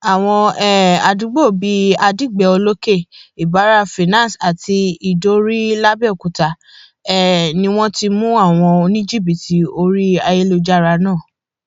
àwọn um àdúgbò bíi adigbe olókè ìbára finance àti ìdíorí làbẹọkútà um ni wọn ti mú àwọn oníjìbìtì orí ayélujára náà